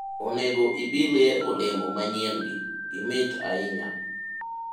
onego ibilye olemo manyien gi, gimit ahinya